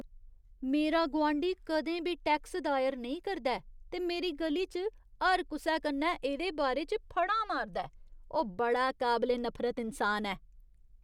मेरा गुआंढी कदें बी टैक्स दायर नेईं करदा ऐ ते मेरी ग'ली च हर कुसै कन्नै एह्दे बारे च फढ़ां मारदा ऐ। ओह् बड़ा काबले नफरत इन्सान न।